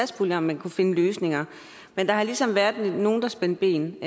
spurgt om man kunne finde løsninger men der har ligesom været nogen der spændte ben